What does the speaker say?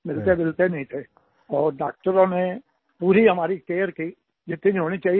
मिलतेजुलते नहीं थे और डॉक्टरों ने पूरी हमारी केयर की जितनी होनी चाहिए